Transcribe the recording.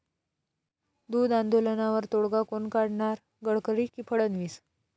दूध आंदोलनावर तोडगा कोण काढणार?, गडकरी की फडणवीस?